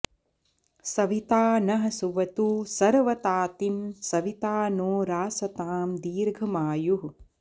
सविता नः सुवतु सर्वतातिं सविता नो रासतां दीर्घमायुः